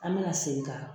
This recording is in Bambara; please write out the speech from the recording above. An bɛna segin ka